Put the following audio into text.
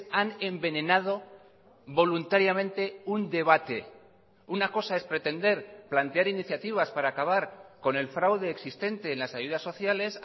han envenenado voluntariamente un debate una cosa es pretender plantear iniciativas para acabar con el fraude existente en las ayudas sociales